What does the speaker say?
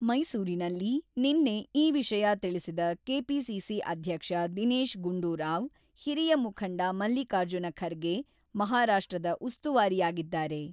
ಮೈಸೂರಿನಲ್ಲಿ ನಿನ್ನೆ ಈ ವಿಷಯ ತಿಳಿಸಿದ ಕೆಪಿಸಿಸಿ ಅಧ್ಯಕ್ಷ ದಿನೇಶ ಗುಂಡೂರಾವ್, ಹಿರಿಯ ಮುಖಂಡ ಮಲ್ಲಿಕಾರ್ಜುನ ಖರ್ಗೆ ಮಹಾರಾಷ್ಟ್ರದ ಉಸ್ತುವಾರಿಯಾಗಿದ್ದಾರೆ.